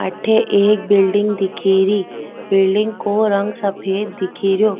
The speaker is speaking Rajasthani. अठे एक बिलडिंग दिखे री बिलडिंग को रंग सफ़ेद दिखे रो।